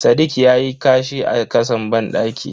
Sadiq yayi kashi a kasan bandaki.